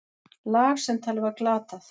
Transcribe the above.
Lag sem talið var glatað.